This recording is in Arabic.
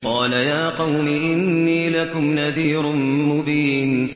قَالَ يَا قَوْمِ إِنِّي لَكُمْ نَذِيرٌ مُّبِينٌ